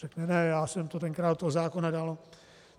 Řekne ne, já jsem to tenkrát do toho zákona dal.